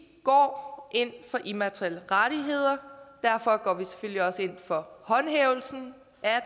går ind for immaterielle rettigheder og derfor går vi selvfølgelig også ind for håndhævelsen